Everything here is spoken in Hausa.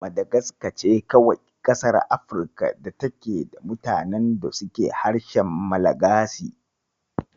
Madagaska ce kawai ƙasar Afrikan da take da mutanen da suke harshen Malagasi.